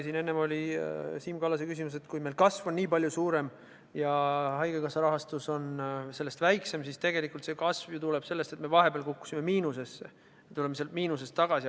Siin enne oli Siim Kallase küsimus selle kohta, et kui meil kasv on nii palju suurem ja haigekassa rahastus on sellest väiksem, siis tegelikult see kasv tuleb ju sellest, et me vahepeal kukkusime miinusesse ja nüüd tuleme sealt miinusest tagasi.